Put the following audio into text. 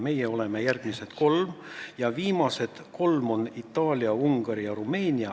Meie oleme järgmised kolm ja viimased kolm on Itaalia, Ungari ja Rumeenia.